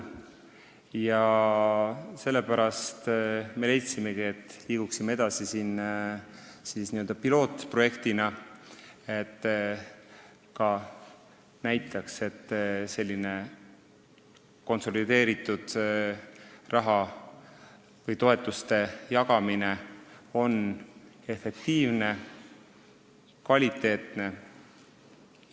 Sellepärast me leidsimegi, et liiguks edasi pilootprojektiga – näitame, et selline raha või toetuste konsolideeritud jagamine on efektiivne ja kvaliteetne.